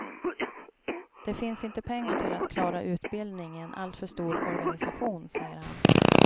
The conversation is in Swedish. Det finns inte pengar till att klara utbildning i en alltför stor organisation, säger han.